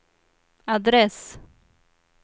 adress